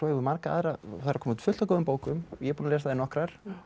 marga aðra og það er að koma út fullt af góðum bókum ég er búinn að lesa nokkrar